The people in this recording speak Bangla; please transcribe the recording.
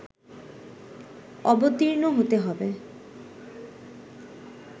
অবর্তীণ হতে হবে